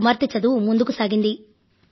నా కుమార్తె చదువు ముందుకు సాగింది